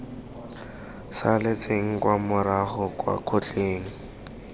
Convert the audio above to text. saletseng kwa morago kwa kgotleng